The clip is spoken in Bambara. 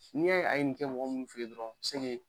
N'i y'a' ye a ye nin kɛ mɔgɔ mun fɛ ye dɔrɔn